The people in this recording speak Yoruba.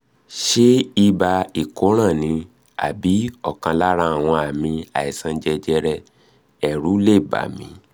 ṣé ibà ìkóràn ni? àbí ọ̀kan lára àwọn àmì àìsàn jẹjẹrẹ èrù lè bà mí